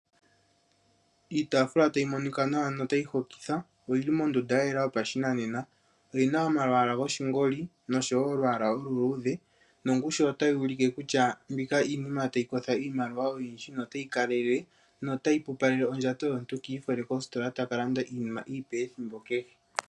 Iitaafula tayi monika nawa yo tayi hokitha, oyili mondunda ya yela yo pashinanena oyi na omalwaala goshingoli noshi noshowo olwaala olu luudhe nongushu nota yulike kutya iinima tayi kosho iimaliwa oyindji notayi kalelele notayi pupaleke ondjato yomuntu ka ifole kositola a kalande iinima ethimbo keshe.